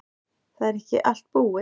Það er ekki allt búið.